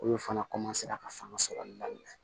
Olu fana ka fanga sɔrɔ daminɛ